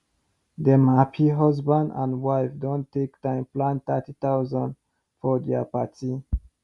dem happy husband and wife don take time plan 30000 for dia party